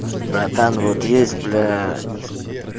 братан вот есть блять